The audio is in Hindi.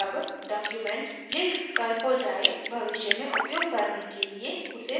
जब document लिख कर हो जाए भविष्य में उपयोग करने के लिए उसे सेव करें